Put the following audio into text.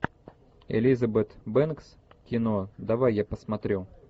элизабет бэнкс кино давай я посмотрю